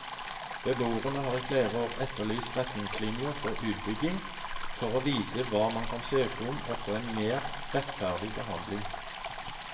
Beboerne har i flere år etterlyst retningslinjer for utbygging, for å vite hva man kan søke om og få en mer rettferdig behandling.